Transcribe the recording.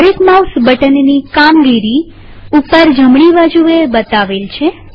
દરેક માઉસ બટનની કામગીરી ઉપર જમણીબાજુએ બતાવેલ છે